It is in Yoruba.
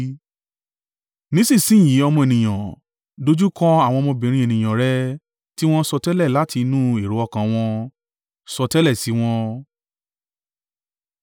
“Nísinsin yìí, ọmọ ènìyàn, dojúkọ àwọn ọmọbìnrin ènìyàn rẹ tí wọ́n ń sọtẹ́lẹ̀ láti inú èrò ọkàn wọn, sọtẹ́lẹ̀ sí wọn